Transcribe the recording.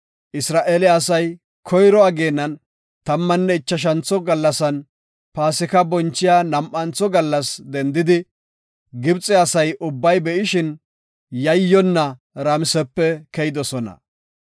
Isra7eele asay koyro ageenan, tammanne ichashantho gallasan, Paasika bonchiya nam7antho gallas dendidi, Gibxe asa ubbay be7ishin, yayyonna Ramisepe keyidosona.